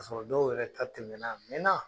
Kasɔrɔ dɔw yɛrɛ ta tɛmɛna a mɛɛna.